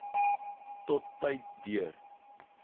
tot tyd deur